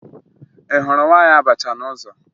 Ị hụrụ nwaanyị abacha n'ụzọ?